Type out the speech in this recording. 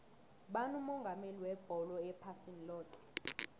ngubani umongameli webholo ephasini loke